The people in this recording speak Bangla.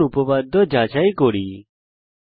উপপাদ্য যাচাই করা যাক